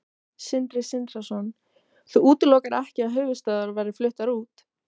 Sindri Sindrason: Þú útilokar ekki að höfuðstöðvar verði fluttar út?